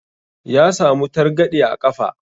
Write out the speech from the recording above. Ya samu targaɗe a ƙafa.